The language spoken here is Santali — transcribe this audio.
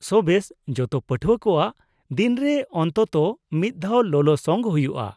ᱥᱚᱵᱮᱥ ᱾ ᱡᱚᱛᱚ ᱯᱟᱹᱴᱷᱣᱟᱹ ᱠᱚᱣᱟᱜ ᱫᱤᱱᱨᱮ ᱚᱱᱛᱚᱛᱛᱚ ᱢᱤᱫ ᱫᱷᱟᱣ ᱞᱚᱞᱚ ᱥᱚᱝ ᱦᱩᱭᱩᱜᱼᱟ ᱾